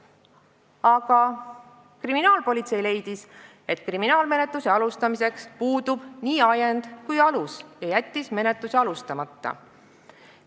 Aga kriminaalpolitsei leidis, et kriminaalmenetluse alustamiseks puudub nii ajend kui ka alus, ja jättis menetluse alustamata.